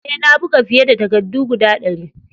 Eh, na buga fiye da takaddu guda dari.